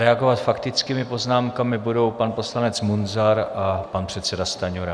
Reagovat faktickými poznámkami budou pan poslanec Munzar a pan předseda Stanjura.